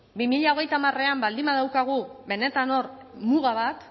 bi mila hogeita hamarean baldin badaukagu benetan hor muga bat